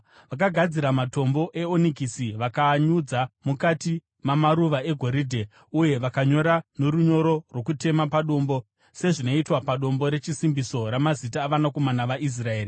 Vakagadzira matombo eonikisi vakaanyudza mukati mamaruva egoridhe uye vakanyora norunyoro rwokutema padombo sezvinoitwa padombo rechisimbiso ramazita avanakomana vaIsraeri.